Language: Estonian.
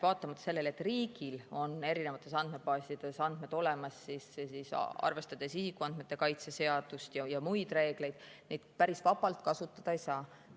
Vaatamata sellele, et riigil on erinevates andmebaasides andmed olemas, siis arvestades isikuandmete kaitse seadust ja muid reegleid, neid päris vabalt kasutada ei saa.